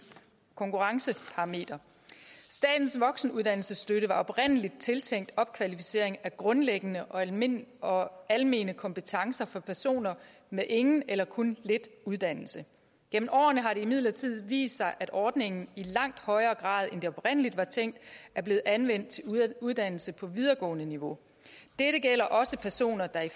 konkurrenceparameter statens voksenuddannelsesstøtte var oprindelig tiltænkt opkvalificering af grundlæggende og almene og almene kompetencer for personer med ingen eller kun lidt uddannelse gennem årene har det imidlertid vist sig at ordningen i langt højere grad end det oprindelig var tænkt er blevet anvendt til uddannelse på videregående niveau dette gælder også personer der i